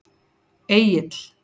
Egill